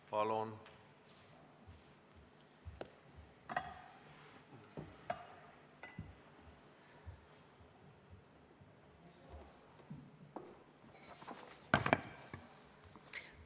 Palun!